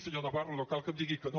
senyor navarro no cal que em digui que no